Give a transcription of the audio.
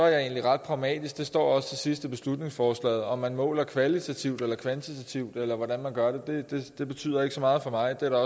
jeg egentlig ret pragmatisk det står også til sidst i beslutningsforslaget om man måler kvalitativt eller kvantitativt eller hvordan man gør det betyder ikke så meget for mig det